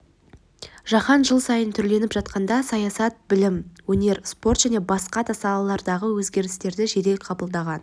жаһан жыл сайын түрленіп жатқанда саясат білім өнер спорт және басқа да салалардағы өзгерістерді жедел қабылдаған